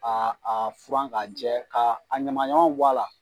A a furan k'a jɛ, ka a ɲamanɲamanw b' a la.